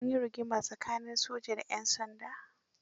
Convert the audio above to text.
An yi rigima tsakanin soja da 'yan sanda.